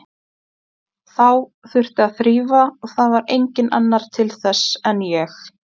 Þá þurfti að þrífa og það var enginn annar til þess en ég.